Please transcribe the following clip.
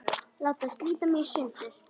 Láta slíta mig í sundur.